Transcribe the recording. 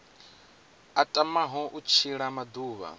a tamaho u tshila maḓuvha